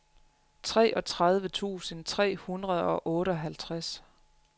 treogtredive tusind tre hundrede og otteoghalvtreds